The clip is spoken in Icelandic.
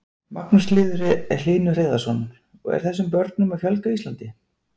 Magnús Hlynur Hreiðarsson: Og þessum börnum er að fjölga á Íslandi?